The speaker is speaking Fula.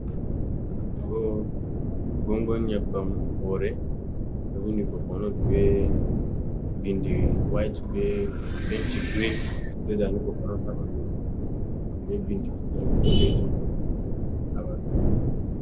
Gongon nyebbam hoore, ɗo windi kokonot be bindi wait be penti girin, be zaane kokonot ha ɓandu mai, be bindi daneejum ha ɓaawo mai.